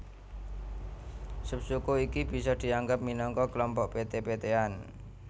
Subsuku iki bisa dianggep minangka klompok peté petéan